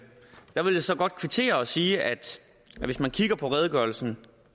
jeg så godt kvittere og sige at hvis man kigger på redegørelsen